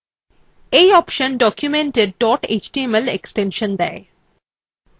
এই অপশন documentএর dot html extension দেয়